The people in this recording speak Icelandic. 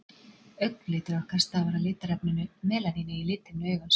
augnlitur okkar stafar af litarefninu melaníni í lithimnu augans